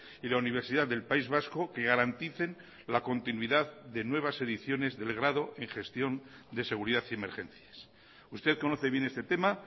y la universidad del país vasco que garanticen la continuidad de nuevas ediciones del grado en gestión de seguridad y emergencias usted conoce bien este tema